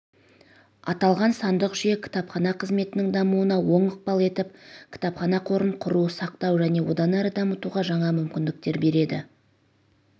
аталған сандық жүйе кітапхана қызметінің дамуына оң ықпал етіп кітапхана қорын құру сақтау және одан әрі дамытуға жаңа мүмкіндіктер береді